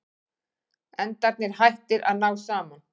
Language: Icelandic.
Endarnir hættir að ná saman.